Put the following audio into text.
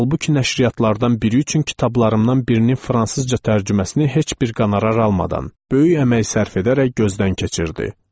Halbuki nəşriyyatlardan biri üçün kitabımdan birinin fransızca tərcüməsini heç bir qanərar almadan, böyük əmək sərf edərək gözdən keçirirdi.